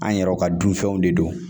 An yɛrɛw ka dunfɛnw de don